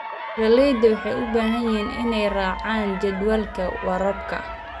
Beeralayda waxay u baahan yihiin inay raacaan jadwalka waraabka.